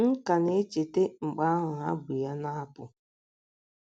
M ka na - echeta mgbe ahụ ha bu ya na - apụ.